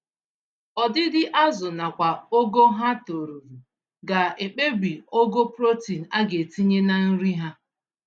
Ọdịdị azụ nakwa ogo ha toruru, ga ekpebi ogo protein agetinye na nri ha